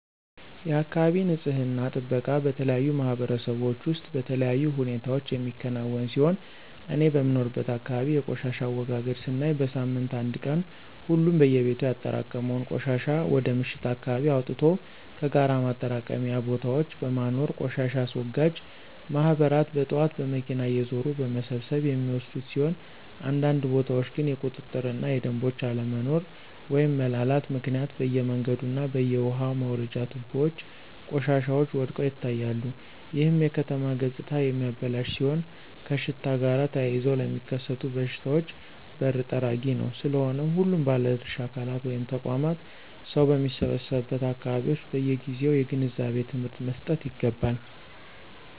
የአካባቢ ንፅህና ጥበቃ በተለያዩ ማህበረሰቦች ውስጥ በተለያዩ ሁኔታዎች የሚከናወን ሲሆን እኔ በምኖርበት አካባቢ የቆሻሻ አወጋገድ ስናይ በሳምንት አንድ ቀን ሁሉም በየቤቱ ያጠራቀመውን ቆሻሻ ወደ ምሽት አካባቢ አወጥቶ ከጋራ ማጠራቀሚያ ቦታዎች በማኖር ቆሻሻ አስወጋጅ ማህበራት በጥዋት በመኪና እየዞሩ በመሰብሰብ የሚወስዱት ሲሆን አንዳንድ ቦታዎች ግን የቁጥጥር እና የደምቦች አለመኖሮ (መላላት)ምክንያት በየመንገዱ እና በየውሃ መውረጃ ትቦዎች ቆሻሻዎች ወድቀው ይታያሉ ይህም የከተማ ገፅታ የሚያበላሽ ሲሆን ከሽታ ጋር ተያይዘው ለሚከሰቱ በሽታዎች በር ጠራጊ ነው። ስለሆነም ሁሉም ባለድርሻ አካላት (ተቋማት) ሰው በሚሰበሰቡበት አካባቢዎች በየጊዜው የግንዛቤ ትምህርት መሰጠት ይገባል።